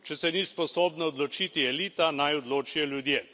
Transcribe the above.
Če se ni sposobna odločiti elita, naj odločijo ljudje.